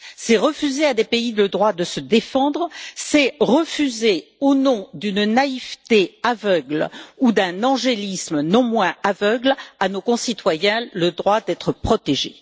C'est refuser à des pays le droit de se défendre, c'est refuser, au nom d'une naïveté aveugle ou d'un angélisme non moins aveugle, à nos concitoyens le droit d'être protégés.